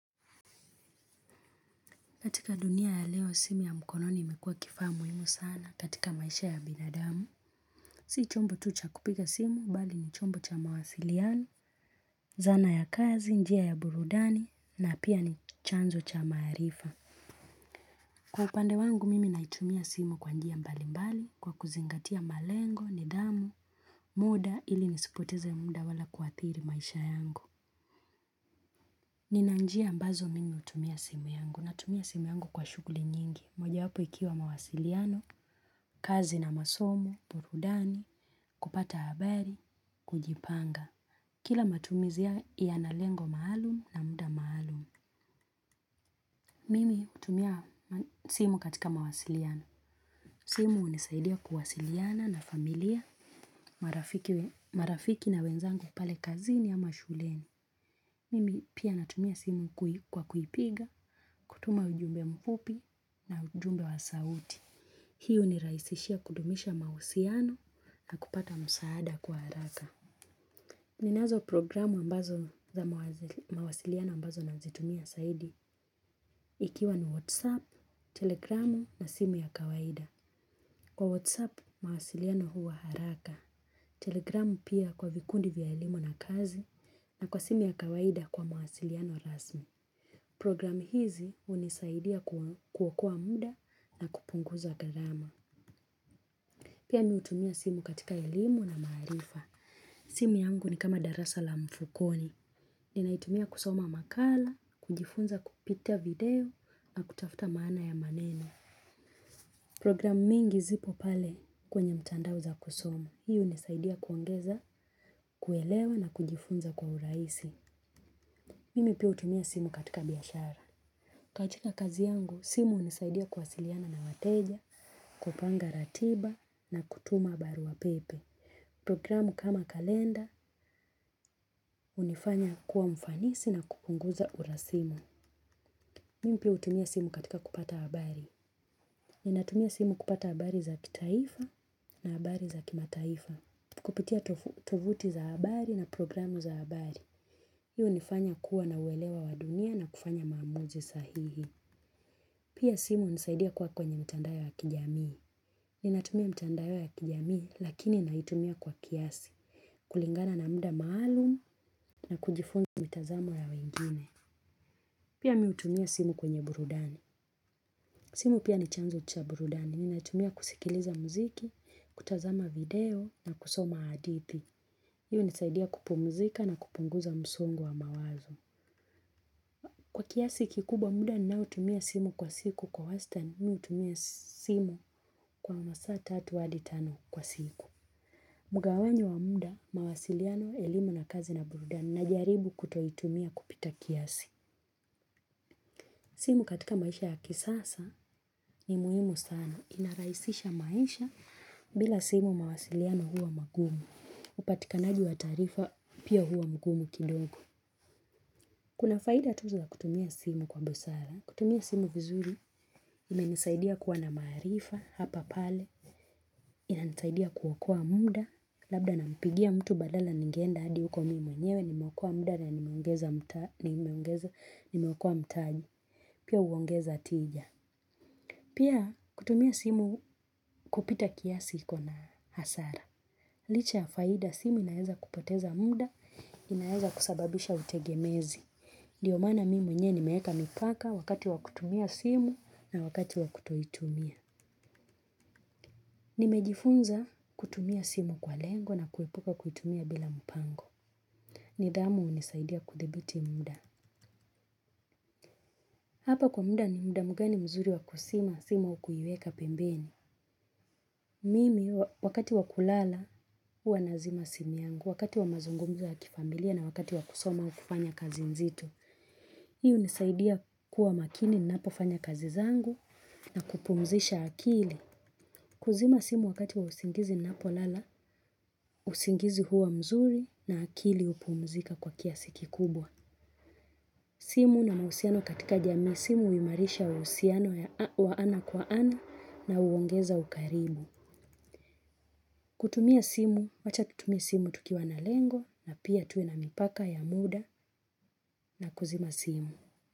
Katika dunia ya leo simu ya mkononi imekuwa kifaa muhimu sana katika maisha ya binadamu. Si chombo tu cha kupiga simu bali ni chombo cha mawasiliano, zana ya kazi, njia ya burudani na pia ni chanzo cha maarifa. Kwa upande wangu mimi hutumia simu kwa njia mbali mbali kwa kuzingatia malengo ni damu, muda ili nisipoteze ya muda wala kuadhiri maisha yangu. Nina njia ambazo mimi hutumia simu yangu. Natumia simu yangu kwa shughuli nyingi. Moja wapo ikiwa mawasiliano, kazi na masomo, burudani, kupata habari, kujipanga. Kila matumizi yanalengo maalum na muda maalum. Mimi hutumia simu katika mawasiliano. Simu hunisaidia kuwasiliana na familia, marafiki na wenzangu pale kazini ama shuleni. Mimi pia natumia simu kwa kupiga, kutuma ujumbe mfupi na ujumbe wa sauti. Hii hunirahisishia kudumisha mahusiano na kupata msaada kwa haraka. Ninazo programu ambazo za mawasiliano ambazo nazitumia zaidi. Ikiwa ni WhatsApp, Telegramu na simu ya kawaida. Kwa WhatsApp, mawasiliano huwa haraka. Telegramu pia kwa vikundi vya elimu na kazi na kwa simu ya kawaida kwa mawasiliano rasmi. Programu hizi hunisaidia kuokoa muda na kupunguza gharama. Pia mimi hutumia simu katika elimu na maarifa. Simu yangu ni kama darasa la mfukoni. Ninaitumia kusoma makala, kujifunza kupitia video na kutafuta maana ya maneno. Programu mingi zipo pale kwenye mtandao za kusoma. Hii hunisaidia kuongeza, kuelewa na kujifunza kwa urahisi. Mimi pia hutumia simu katika biashara. Katika kazi yangu, simu hunisaidia kuwasiliana na wateja, kupanga ratiba na kutuma barua pepe. Programu kama kalenda, hunifanya kuwa mfanisi na kupunguza urasimu. Mimi pia hutumia simu katika kupata habari. Ninatumia simu kupata habari za kitaifa na habari za kimataifa. Kupitia tovuti za habari na programu za habari. Hii hunifanya kuwa na uelewa wa dunia na kufanya maamuzi sahihi. Pia simu hunisaidia kuwa kwenye mtandao ya kijamii. Ninatumia mtandao ya kijamii lakini ninaitumia kwa kiasi. Kulingana na muda maalum na kujifunza mitazamo ya wengine. Pia mimi hutumia simu kwenye burudani. Simu pia ni chanzo cha burudani. Ninatumia kusikiliza muziki, kutazama video na kusoma hadithi. Iyo hunisaidia kupumzika na kupunguza msongo wa mawazo. Kwa kiasi kikubwa muda ninao tumia simu kwa siku kwa wastani mimi hutumia simu kwa masaa tatu hadi tano kwa siku. Mgawanyo wa muda, mawasiliano, elimu na kazi na burudani najaribu kutoitumia kupita kiasi. Simu katika maisha ya kisasa ni muhimu sana. Inarahisisha maisha bila simu mawasiliano huwa magumu. Upatikanaji wa taarifa pia huwa mgumu kidogo. Kuna faida tu za kutumia simu kwa busara. Kutumia simu vizuri imenisaidia kuwa na maarifa hapa pale inanisaidia kuokoa muda. Labda nampigia mtu badala ningenda adi huko mimi mwenyewe. Nimeokoa muda na nimeongeza mtaji. Pia huongeza tija. Pia kutumia simu kupita kiasi ikona hasara. Licha ya faida simu inaeza kupoteza muda, inaeza kusababisha utegemezi. Ndio maana mimi mwenyewe nimeeka mipaka wakati wa kutumia simu na wakati wa kutoitumia. Nimejifunza kutumia simu kwa lengo na kuepuka kuitumia bila mpango. Nidhamu hunisaidia kudhibiti muda. Hapa kwa muda ni muda mgani mzuri wa kuzima simu kuiweka pembeni. Mimi wakati wakulala huwa nazima simu yangu, wakati wamazungumzo ya kifamilia na wakati wakusoma au kufanya kazi nzito. Hii hunisaidia kuwa makini ninapo fanya kazi zangu na kupumzisha akili. Kuzima simu wakati wa usingizi ninapo lala, usingizi huwa mzuri na akili hupumzika kwa kiasi kikubwa. Simu na mahusiano katika jamii simu huimarisha mahusiano wa ana kwa ana na huongeza ukarimu. Kutumia simu, wacha tutumia simu tukiwa na lengo na pia tuwe na mipaka ya muda na kuzima simu.